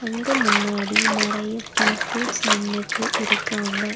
அங்க முன்னாடி நறைய பீப்புள்ஸ் நின்னுட்டு இருக்காங்க.